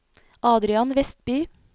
Adrian Westby